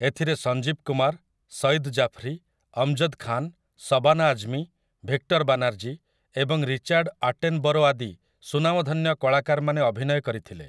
ଏଥିରେ ସଞ୍ଜୀବ୍ କୁମାର୍, ସୟିଦ୍ ଜାଫ୍ରୀ, ଅମ୍‌ଜଦ୍ ଖାନ୍, ଶବାନା ଆଜ୍ମୀ, ଭିକ୍ଟର୍ ବାନାର୍ଜୀ ଏବଂ Richard Attenborough ଆଦି ସୁନାମଧନ୍ୟ କଳାକାରମାନେ ଅଭିନୟ କରିଥିଲେ ।